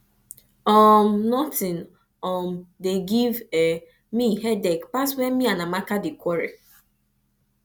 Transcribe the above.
um nothing um dey give me headache pass when me and amaka dey quarrel